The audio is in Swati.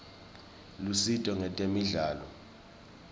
lusito ngetemidlalo